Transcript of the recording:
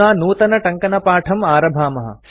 अधुना नूतनटङ्कणपाठं आरभामः